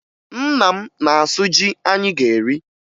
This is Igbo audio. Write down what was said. Nna m na-asụ ji anyị ga-eri